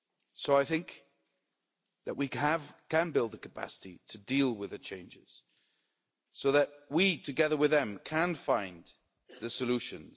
So I think that we can build the capacity to deal with the changes so that we, together with them, can find the solutions.